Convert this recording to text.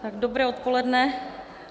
Dobré odpoledne.